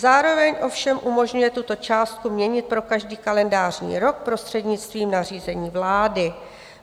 Zároveň ovšem umožňuje tuto částku měnit pro každý kalendářní rok prostřednictvím nařízení vlády.